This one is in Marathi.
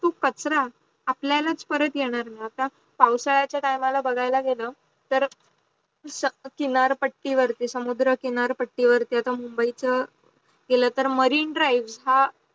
तो कचरा आपल्याला परत येणार नाही आता पाऊसाचा time ला बगायला गेल तर चिनार पाटी वरती समुद्धातच किनार पट्टी वरती आता मुंबई च गेल तर मॅरीने ड्राईव्ह हा